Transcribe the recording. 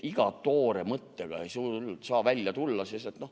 Iga toore mõttega ei saa välja tulla.